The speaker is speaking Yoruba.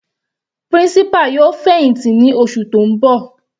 Principal yóò fẹ̀hìntì ní oṣù tó ń bọ̀.